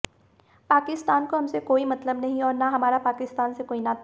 पाकिस्तान को हमसे कोई मतलब नहीं और न हमारा पाकिस्तान से कोई नाता